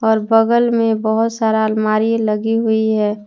और बगल में बहोत सारा आलमारी लगी हुई है।